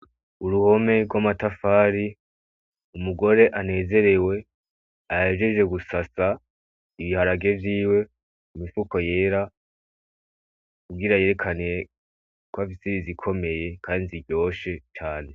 Uruhome gw'amatafari, umugore anezerewe ahejeje gusasa ibiharage vyiwe mumifuko yera, kugira yerekane kwafise izikomeye kandi ziryoshe cane.